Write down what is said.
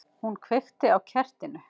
Hún kveikti á kertinu.